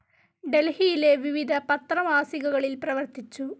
ഡൽഹിയിലെ വിവിധ പത്ര മാസികകളിൽ പ്രവർത്തിച്ചു.